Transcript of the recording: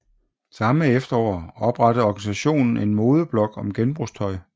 Samme efterår oprettede organisationen en modeblog om genbrugstøj